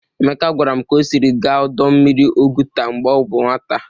Emeka gwara m ka o siri gaa ọdọ mmiri Oguta mgbe ọ bụ nwata.